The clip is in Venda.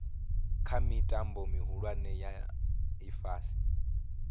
kha mitambo mihulwane ya ifhasi